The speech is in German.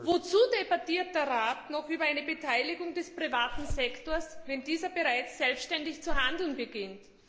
Wozu debattiert der Rat noch über eine Beteiligung des privaten Sektors, wenn dieser bereits selbständig zu handeln beginnt?